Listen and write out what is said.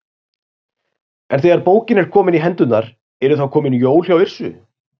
En þegar bókin er komin í hendurnar, eru þá komin jól hjá Yrsu?